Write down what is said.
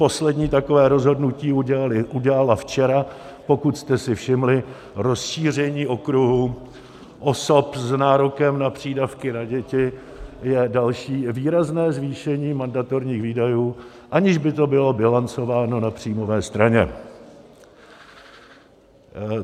Poslední takové rozhodnutí udělala včera, pokud jste si všimli, rozšíření okruhu osob s nárokem na přídavky na děti je další výrazné zvýšení mandatorních výdajů, aniž by to bylo bilancováno na příjmové straně.